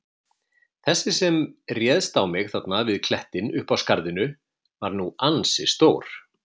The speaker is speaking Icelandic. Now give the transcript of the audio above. Þessi sem réðst á mig þarna við klettinn uppi í skarðinu var nú ansi stór.